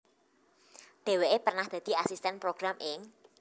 Dhéwéké pernah dadi asistèn program ing